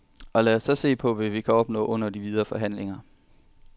Og lad os så se, hvad vi kan opnå under de videre forhandlinger.